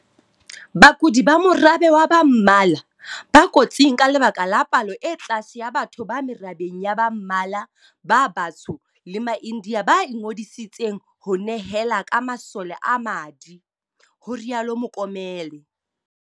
Bakudi ba morabe wa ba mmala, ba kotsing ka lebaka la palo e tlase ya batho ba merabeng ya ba mmala, ba batsho le maIndia ba ingodiseditseng ho nehela ka masole a madi, ho rialo Mokomele.